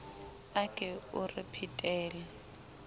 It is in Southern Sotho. a ke o re phetele